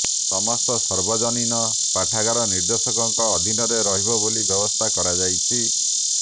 ସମସ୍ତ ସାର୍ବଜନୀନ ପାଠାଗାର ନିର୍ଦ୍ଦେଶକଙ୍କ ଅଧୀନରେ ରହିବ ବୋଲି ବ୍ୟବସ୍ଥା କରାଯାଇଛି